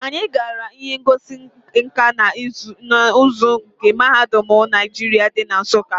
Anyi gara ihe ngosi nka na uzu ndi mahadum Naijiria di na Nsukka.